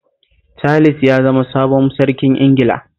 Charles ya zama sabon sarkin Ingila